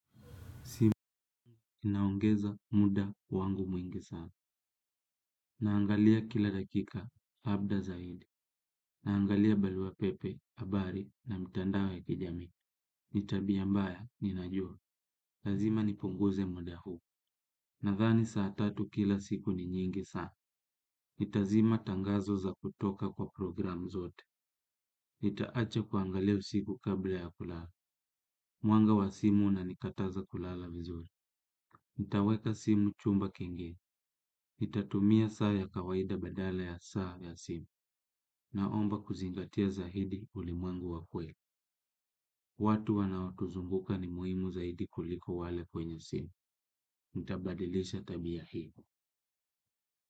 Naongeza muda wangu mwingi sana naangalia kila dakika labda zaidi. Naangalia balua pepe, habari na mtandao wa kijami. Ni tabia mbaya, ninajua. Lazima nipunguze muda huu. Nadhani saa tatu kila siku ni nyingi sana. Nitazima tangazo za kutoka kwa programu zote. Nitaacha kuangalia usiku kabla ya kulala. Mwanga wa simu unanikataza kulala vizuri. Nitaweka simu chumba kengine. Nitatumia saa ya kawaida badala ya saa ya simu. Naomba kuzingatia zaidi ulimwengu wa kweli. Watu wanaotuzunguka ni muhimu zaidi kuliko wale kwenye simu nitabadilisha tabia hii.